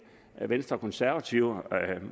venstre og konservative